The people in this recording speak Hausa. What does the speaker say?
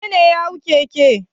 Wane ne ya hau keke?